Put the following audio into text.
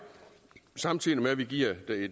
samtidig med at vi giver